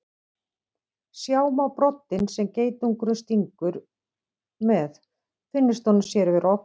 Sjá má broddinn sem geitungurinn stingur með finnist honum sér vera ógnað.